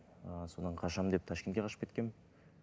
ы содан қашамын деп ташкентке қашып кеткенмін